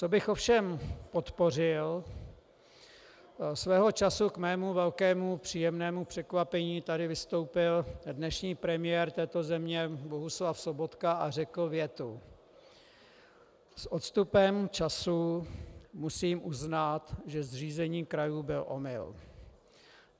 Co bych ovšem podpořil, svého času k mému velkému příjemnému překvapení tady vystoupil dnešní premiér této země Bohuslav Sobotka a řekl větu: S odstupem času musím uznat, že zřízení krajů byl omyl.